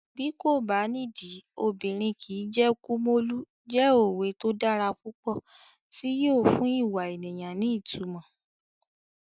Bí kò bá nídìí, obìnrin kìí jẹ́ Kumolu" jẹ́ òwe tó dára púpọ̀ tí yóò fún ìwà ènìyàn ní ìtumọ̀.